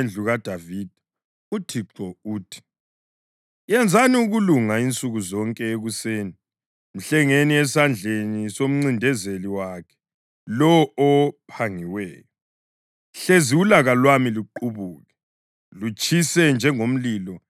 Ngimelane lawe, Jerusalema, wena ohlala ngaphezu kwalesisigodi, emagcekeni alamadwala, kutsho uThixo, lina elithi, “Ngubani ongazasihlasela na? Ngubani ongangena esiphephelweni sethu na?”